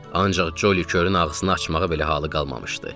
Ancaq Colly körün ağzını açmağa belə halı qalmamışdı.